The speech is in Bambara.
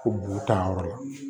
Ko b'u tan yɔrɔ la